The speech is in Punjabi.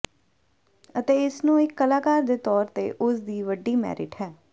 ਅਤੇ ਇਸ ਨੂੰ ਇੱਕ ਕਲਾਕਾਰ ਦੇ ਤੌਰ ਤੇ ਉਸ ਦੀ ਵੱਡੀ ਮੈਰਿਟ ਹੈ